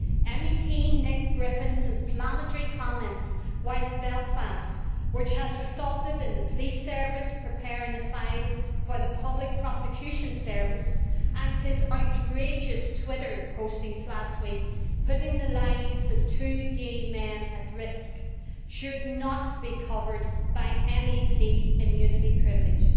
MEP Nick Griffin's inflammatory comments while in Belfast, which have resulted in the police service preparing a file for the public prosecution service, and his outrageous Twitter postings last week, putting the lives of two gay men at risk, should not be covered by MEP immunity and privileges.